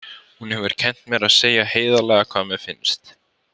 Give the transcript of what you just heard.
Hún hefur kennt mér að segja heiðarlega hvað mér finnst.